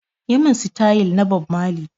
Yi mun sitayil na Bob mali!